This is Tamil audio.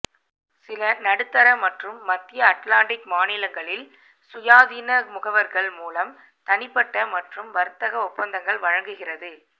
சில நடுத்தர மற்றும் மத்திய அட்லாண்டிக் மாநிலங்களில் சுயாதீன முகவர்கள் மூலம் தனிப்பட்ட மற்றும் வர்த்தக ஒப்பந்தங்கள் வழங்குகிறது